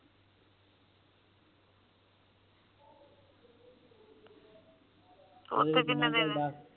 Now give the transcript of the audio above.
ਓਥੇ ਕੀਨੇ ਦੇਣੇ ਆ